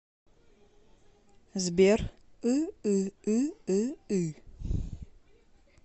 сбер ыыыыы